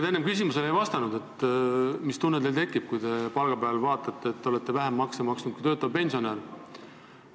Te enne ei vastanud mu küsimusele, mis tunne teil tekib, kui palgapäeval näete, et olete vähem makse maksnud kui töötav pensionär.